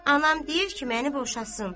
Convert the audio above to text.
Anam deyir ki, məni boşasın.